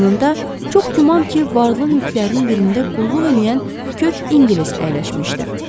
Yanında çox güman ki, varlı mülklərinin birində qulluq eləyən kök İngilis əyləşmişdi.